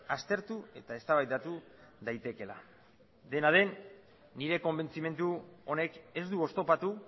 aztertu eta eztabaidatu daitekeela dena den nire konbentzimendu honek ez du oztopatu